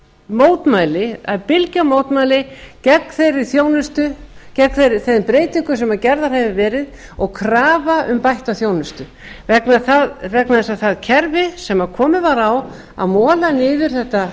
mótmæli það er bylgja mótmæla gegn þeirri þjónustu gegn þeim breytingum sem gerðar hafa verið og krafa um bætta þjónustu vegna þess að það kerfi sem komið var á að mola niður